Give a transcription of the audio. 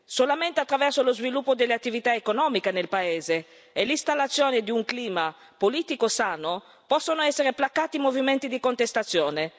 Solamente attraverso lo sviluppo delle attività economiche nel paese e l'installazione di un clima politico sano, possono essere placati i movimenti di contestazione.